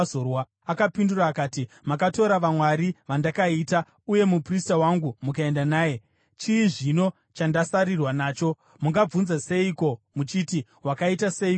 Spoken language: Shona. Akapindura akati, “Makatora vamwari vandakaita, uye muprista wangu mukaenda naye. Chii zvino chandasarirwa nacho? Mungabvunza seiko muchiti, ‘Wakaita seiko iwe?’ ”